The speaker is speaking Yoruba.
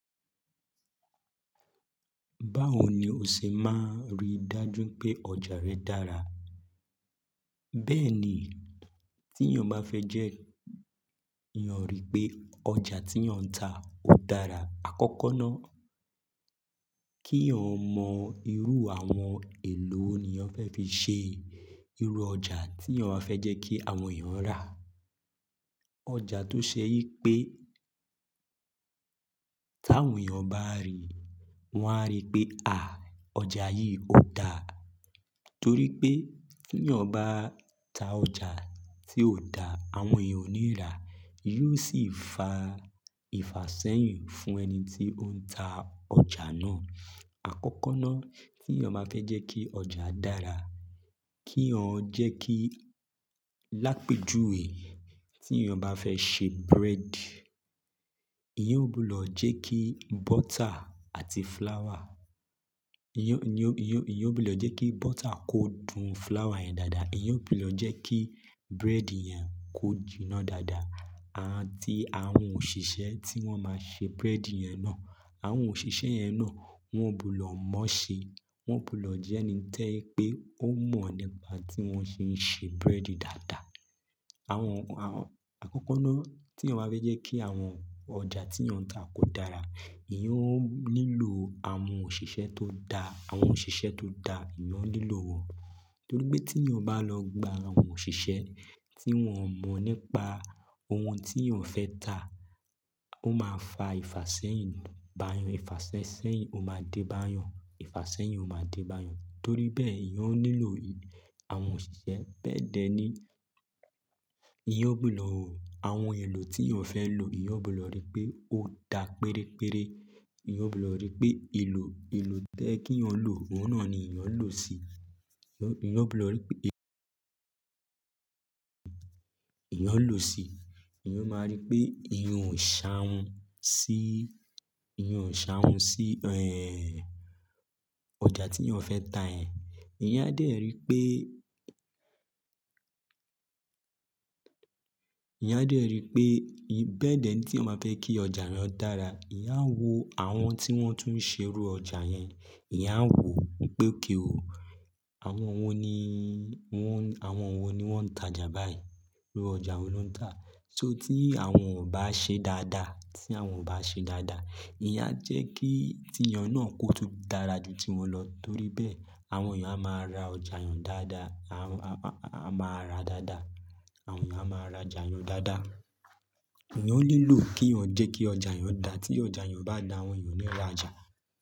Báwo ni o ṣe máa rí dájú pé ọjà rẹ dára? Bẹ́ẹ̀ ni, tí èèyàn bá fẹ́ jẹ́, eyan rí pé ọjà tí èèyàn ń ta ò dára. Àkọ́kọ́ ná, kí èèyàn mọ irú àwọn èlò wo ni eyan fẹ́ fi ṣe irú ọjà tí èèyàn fẹ́ jẹ́ kí àwọn èèyàn rà. Ọjà tó ṣe yí pé, tí àwọn èèyàn bá ríi, wọ́n á rí pé, "à, ọjà yìí ò da." Torí pé tí èèyàn bá ta ọjà tí ò da, àwọn èèyàn ò ní rà á, yóò sì fa ìfàsẹ́yin fún ẹni tí ó ń ta ọjà náà. Àkọ́kọ́ ná, tí èèyàn bá fẹ́ jẹ́ kí ọjà dára, kí èèyàn jẹ́ kí lápéjùwe. Tí èèyàn bá fẹ́ ṣe bread, eyan ò ní wúlò jẹ́ kí butter àti flour eyan ò ní wúle jẹ́ kí butter kó dun flour yẹn dáadáa. Eyan ò ní wúle jẹ́ kí bread yẹn kó jìnà dáadáa. Àti àwọn òṣìṣẹ́ tí wọ́n máa ṣe bread yẹn náà, àwọn òṣìṣẹ́ yẹn náà wọ́n gbudo moo ṣe. Wọn ò ní wúle jẹ́ ẹni to je pé ó mọ̀ nípa tí wọ́n ṣe ń ṣe bread dáadáa. Àwọn, àwọn, àkọ́kọ́ ná tí èèyàn bá fẹ́ jẹ́ kí àwọn ọjà tí èèyàn ń ta kó dára, eyan ó nílò àwọn òṣìṣẹ́ tó dáa. Àwọn òṣìṣẹ́ tó dáa, eyan ó nílò wọn. Torí pé tí èèyàn bá lọ gba àwọn òṣìṣẹ́ tí wọ́n ò mọ̀ nípa ohun tí èèyàn fẹ́ ta, ó máa fa ìfàsẹ́yàn bá eyan. Ìfàsẹ́yàn ó máa dé bá eyan. Ìfàsẹ́yàn ó máa dé bá eyan. Torí bẹ́ẹ̀ eyan ó nílò àwọn òṣìṣẹ́ bẹ̀ dẹ ní eyan ò ní wúle àwọn èlò tí èèyàn fẹ́ lò. Eyẹn ò ní wúle rí pé ó da pérére. Eyẹn ò ní wúle rí pé èlò, èlò tẹ́ẹ́ kí èèyàn lò, òun náà ni eyẹn ó lò si. Eyan ò ní wúle rí pé èèyàn eyan ó lò si. Eyan ó máa rí pé eyan ò ṣàhun sí, eyan ò ṣàhun sí, ẹ́ń, ọjà tí èèyàn fẹ́ ta ẹ́. Eyan á dẹ́rì pé, eyan á dẹ́rì pé bẹ́ẹ̀ dẹ ní tí èèyàn bá fẹ́ kí ọjà rẹ ó dára. Eyan á wò àwọn tí wọ́n tún ṣe irú ọjà yẹn. Eyan á wò wípé, "okay o, àwọn wo ni wọ́n, àwọn wo ni wọ́n ń tajà báyìí? Irú ọjà wo lo ń tà?" So tí àwọn ò bá ṣe dáadáa, tí àwọn ò bá ṣe dáadáa, eyan á jẹ́ kí tí èèyàn náà kó tó dára ju tí wọn lọ. Torí bẹ́ẹ̀, àwọn èèyàn á máa ra ọjà eyan dáadáa. Àwọn, a máa ra dáadáa. Àwọn èèyàn á máa ra ọjà yẹn dáadáa. Eyan ó nílò kí èèyàn jẹ́ kí ọjà eyan dà. Tí ọjà eyan o bá dà, àwọn èèyàn ó ní lọ ra ọjà.